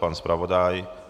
Pan zpravodaj?